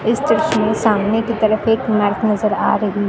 इस दृश्य मे सामने की तरफ एक इमारत नजर आ रही--